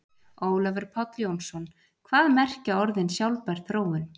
Ólafur Páll Jónsson: Hvað merkja orðin sjálfbær þróun?